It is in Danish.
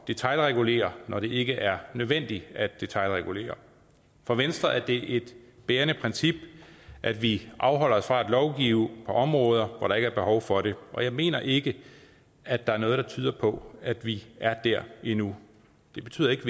detailregulere når det ikke er nødvendigt at detailregulere for venstre er det et bærende princip at vi afholder os fra at lovgive på områder hvor der ikke behov for det og jeg mener ikke at der er noget der tyder på at vi er der endnu det betyder ikke